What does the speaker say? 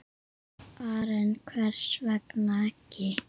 Karen: Hvers vegna ekki?